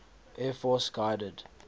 air force guided